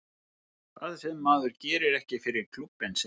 Það sem að maður gerir ekki fyrir klúbbinn sinn.